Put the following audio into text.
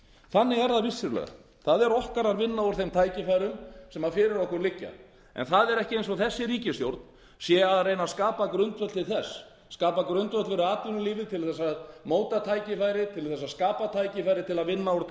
þannig er það vissulega það er okkar að vinna úr þeim tækifærum sem fyrir okkur liggja en það er ekki eins og þessi ríkisstjórn sé að reyna að skapa grundvöll til þess skapa grundvöll fyrir atvinnulífið til að móta tækifærið til að skapa tækifærið til að vinna úr